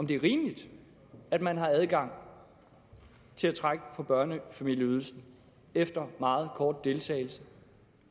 det er rimeligt at man har adgang til at trække på børnefamilieydelsen efter meget kort deltagelse